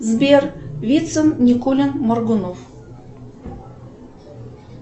сбер вицин никулин моргунов